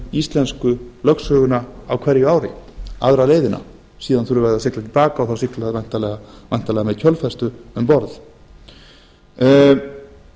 íslensku lögsöguna á hverju ári aðra leiðina síðan þurfa þau að sigla til baka og þá sigla þau væntanlega með kjölfestu um borð hér